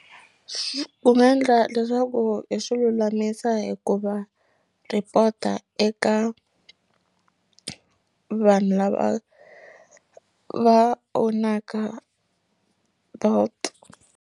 Ku nga endla leswaku hi swi lulamisa hikuva report-a eka vanhu lava va own-aka Bolt.